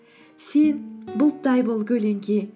сен бұлттай бол көлеңке